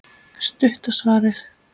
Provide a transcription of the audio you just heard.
Stutta svarið er já.